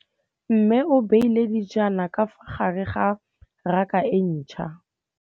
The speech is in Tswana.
Mmê o beile dijana ka fa gare ga raka e ntšha.